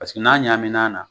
Paseke n'a ɲamin'a na